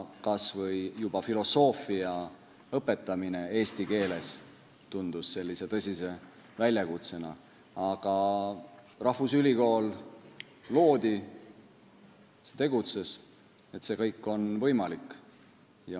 Kas või juba filosoofia õpetamine eesti keeles tundus tõsise proovikivina, aga rahvusülikool loodi, see tegutses, nii et kõik on võimalik.